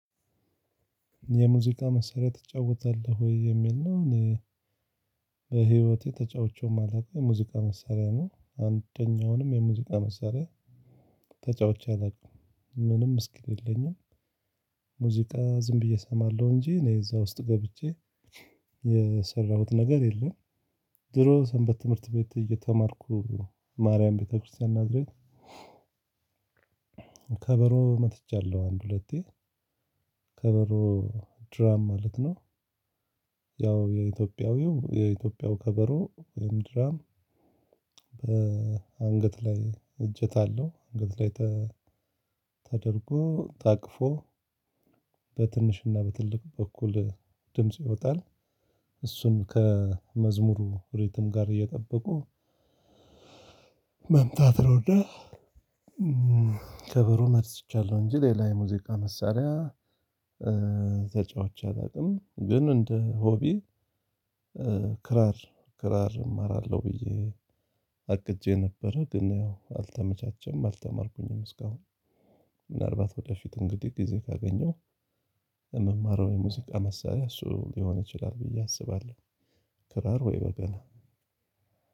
የሙዚቃ መሳሪያ ትጫወታለህ ወይ? የሚል ነው በህይወቴ ተጫውቼው ማለውቀው የሙዚቃ መሳሪያ ነው። አንደኛውንም የሙዚቃ መሳሪያ ተጫውቼ አላውቅም። ምንም እስኪሉ የለኝም ሙዚቃ ዝም ብዬ እሰማለሁ እንጂ እኔ እዛ ውስጥ ገብቼ የሰራሁት ነገር የለም። ድሮ ሰንበት ትምህርት ቤት እየተማርኩ ማርያም ቤተክርስቲያን ናዝሬት ከበሮ መትቻለሁ አንድ ሁለቴ፤ ከበሮ ድራም ማለት ነው። ያው የኢትዮጵያዊው የኢትዮጵያው ከበሮ ወይም ድራም አንገት ላይ እጄታ አለው አንገት ላይ ተደርጎ ታቅፎ በትንሽና በትልቅ በኩል ድምጽ ይወጣል እሱን ከመዝሙሩ ሪትም ጋር እየጠበቁ መምታት ነውና ከበሮ መትቻለው እንጂ ሌላ የሙዚቃ መሳሪያ ተጫውቼ አላውቅም። ግን እንደ ሆቢ ክራር ክራር እማራለሁ ብዬ አቅጄ ነበረ ግን አልተመቻቸም አልተማርኩኝም እስካሁን ምናልባት ወደፊት እንግዲህ ጊዜ ካገኘው የምማረው የሙዚቃ መሳሪያ እሱ ሊሆን ይችላል ብዬ አስባለሁ። ክራር ወይ በገና